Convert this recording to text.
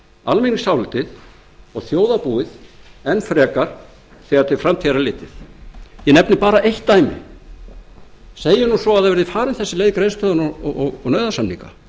almenningsálitið og þjóðarbúið enn frekar þegar til framtíðar er litið ég nefni bara eitt dæmi segjum nú svo að það verði farin þessi leið og nauðasamninga